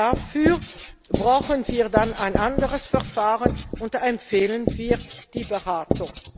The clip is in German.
Dafür brauchen wir dann ein anderes Verfahren, und da empfehlen wir die Beratung.